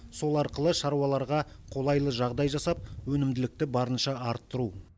сол арқылы шаруаларға қолайлы жағдай жасап өнімділікті барынша арттыру